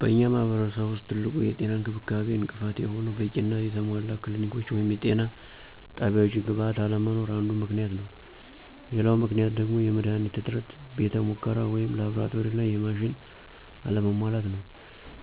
በእኛ ማህረሰብ ውስጥ ትልቁ የጤና እንክብካቤ እንቅፋት የሆነው በቂና የተሟላ የክሊኒኮች ወይም የጤና ጣቢያወች ግብዓት አለመኖር አንዱ ምክንያት ነው፤ ሌላው ምክንያት ደግሞ የመድሀኒት እጥረት፥ የቤተ ሙከራ ወይም ላብራቶሪና የማሽን አለመሟላት ነው።